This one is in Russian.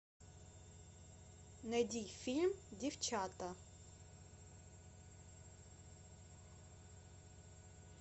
найди фильм девчата